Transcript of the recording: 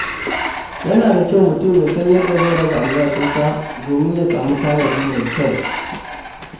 Yana da kyau mutum ya san yadda zai raba albashinsa domin ya sami tanadi mai kyau.